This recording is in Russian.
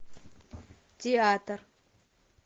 театр